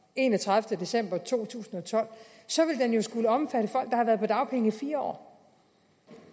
enogtredivete december to tusind og tolv så vil den jo skulle omfatte folk der har været på dagpenge i fire år